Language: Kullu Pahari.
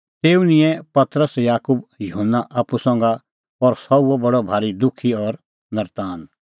तेऊ निंयैं पतरस याकूब और युहन्ना आप्पू संघा और सह हुअ बडअ भारी दुखी और नर्तान